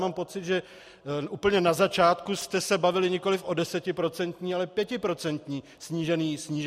Mám pocit, že úplně na začátku jste se bavili nikoliv o desetiprocentní, ale pětiprocentní snížené sazbě.